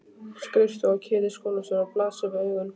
Skrifstofa Ketils skólastjóra blasir við augum.